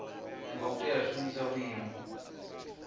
ngo tea u shumisa vhuimo